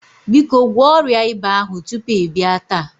Biko gwọọ ọrịa ịba ahụ tupu ị bịa taa.